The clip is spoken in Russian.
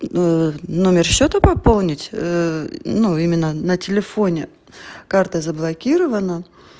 номер счёта пополнить ну именно на телефоне карта заблокирована